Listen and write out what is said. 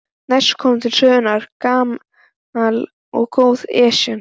Næst kom til sögunnar gamla, góða Esjan.